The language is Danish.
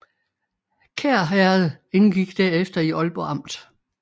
Kær Herred indgik derefter i Ålborg Amt